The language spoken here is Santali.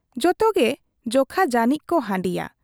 ᱡᱚᱛᱚᱜᱮ ᱡᱚᱠᱷᱟ ᱡᱟᱹᱱᱤᱡ ᱠᱚ ᱦᱟᱺᱰᱤᱭᱟ ᱾